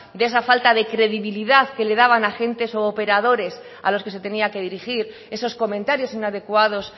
de esa falta de credibilidad que le daban agentes u operadores a los que se tenía que dirigir esos comentarios inadecuados